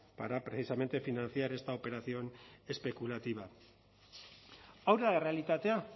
para precisamente financiar esta operación especulativa hau da errealitatea